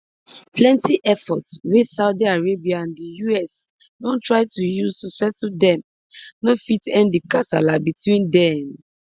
plenty efforts wey saudi arabia and di us don try to use to settle dem no fit end di kasala between dem